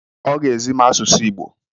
Ọ ga-ezi m asụsụ Igbo.